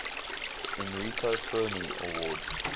enrico fermi award